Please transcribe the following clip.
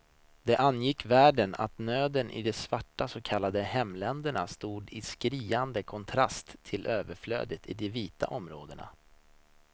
Det angick världen att nöden i de svarta så kallade hemländerna stod i skriande kontrast till överflödet i de vita områdena.